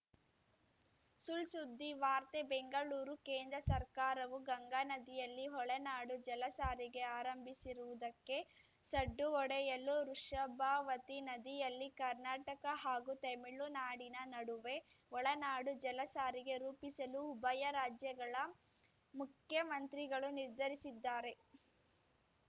ಸುಳ್‌ಸುದ್ದಿ ವಾರ್ತೆ ಬೆಂಗಳೂರು ಕೇಂದ್ರ ಸರ್ಕಾರವು ಗಂಗಾನದಿಯಲ್ಲಿ ಒಳನಾಡು ಜಲಸಾರಿಗೆ ಆರಂಭಿಸಿರುವುದಕ್ಕೆ ಸಡ್ಡು ಹೊಡೆಯಲು ವೃಷಭಾವತಿ ನದಿಯಲ್ಲಿ ಕರ್ನಾಟಕ ಹಾಗೂ ತಮಿಳುನಾಡಿನ ನಡುವೆ ಒಳನಾಡು ಜಲಸಾರಿಗೆ ರೂಪಿಸಲು ಉಭಯ ರಾಜ್ಯಗಳ ಮುಖ್ಯಮಂತ್ರಿಗಳು ನಿರ್ಧರಿಸಿದ್ದಾರೆ